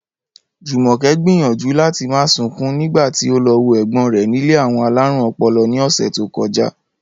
Jùmò̩ké̩ gbìyànjú láti má sunkún nígbà tí ó lo̩ wo è̩gbó̩n rè̩ nílé àwo̩n alárùn o̩po̩lo̩ ní ò̩sè̩ tó ko̩já